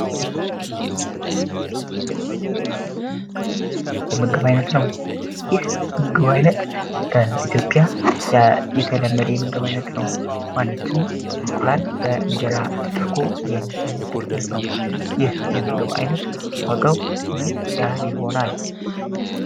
በምስሉ ላይ የምትመለከቱት የምግብ ዓይነት ነው ይህ የምግብ ዓይነት በኢትዮጵያ የተለመደ የምግብ ዓይነት ነው ማለትም እንቁላል በእንጀራ ተደርጎ ማለት ነው ይህ የምግብ ዓይነት ዋጋው ምን ያህል ይሆናል?